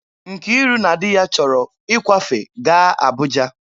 Nkiru na di ya chọrọ ịkwafe gaa Abụja